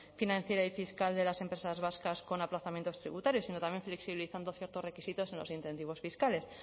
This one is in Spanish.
financiera y fiscal de las empresas vascas con aplazamientos tributarios sino también flexibilizando ciertos requisitos en los incentivos fiscales